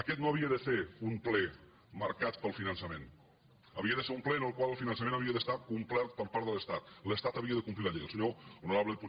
aquest no havia de ser un ple marcat pel finançament havia de ser un ple en el qual el finançament havia d’estar complert per part de l’estat l’estat havia de complir la llei